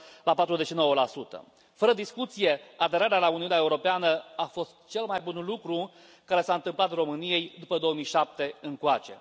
49 Fără discuție, aderarea la Uniunea Europeană a fost cel mai bun lucru care s a întâmplat României după 2007 încoace.